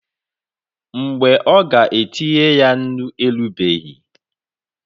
Mgbe ọ ga-etinye ya nnu erubeghị.